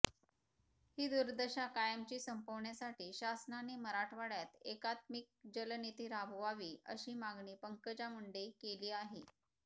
ही दुर्दशा कायमची संपविण्यासाठी शासनाने मराठवाड्यात एकात्मिक जलनीती राबवावी अशी मागणी पंकजा मुंडे केली आहे